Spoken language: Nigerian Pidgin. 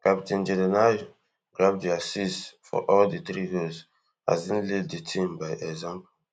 captain jordan ayew grab di assist for all di three goals as im lead di team by example